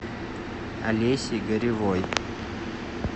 олесей горевой